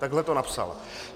Takhle to napsal.